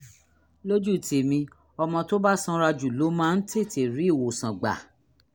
lójú tèmi ọmọ tó bá sanra jù ló máa ń tètè rí ìwòsàn gbà